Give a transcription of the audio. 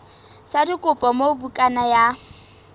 sa dikopo moo bukana ya